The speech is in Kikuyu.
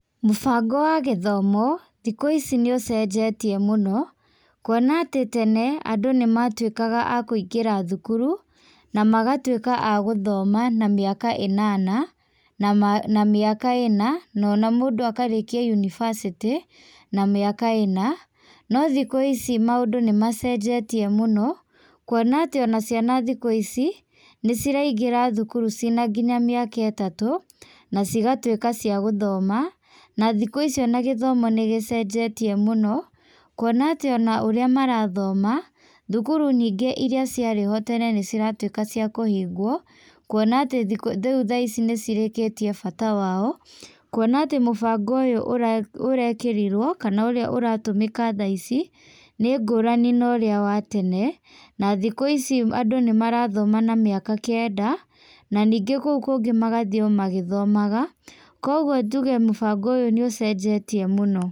Mũbango wa gĩthomo, thikũ ici nĩũcenjetie mũno, kuona atĩ tene, andũ nĩmatũĩkaga akũingĩra thukuru, na magatuĩka agũthoma, na mĩaka ĩnana na mĩaka ĩna, na mũndũ akarĩkia yũnibacĩtĩ, na mĩaka ĩna, no thikũ ici maũndũ nĩmacenjetie mũno, kuona atĩ o na ciana thikũ ici, nĩciraingĩra thukuru cĩ nginya mĩaka itatũ, na cigatuĩka cia gũthoma, na thikũ ici o na gĩthomo nĩgĩcenjetie mũno, kuona tĩ o na ũrĩa marathoma, thukuru nyingĩ irĩa cia rĩ ho tene nĩciratuĩka cikũhingwo, kuona atĩ rĩu thaa ici nĩcirĩkĩtie bata wa o, kuona atĩ mũbango ũyũ ũrekĩrirwo kana ũrĩa ũratũmĩka thaa ici nĩngũrani na ũrĩa wa tene na thikũ ici andũ nĩ marathoma na mĩaka kenda, na ningĩ kũu kũngĩ magathiĩ o magĩthomaga, kogwo njuge mũbango ũyũ nĩ ũcenjetie mũno.